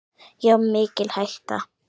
Já, mikil hætta.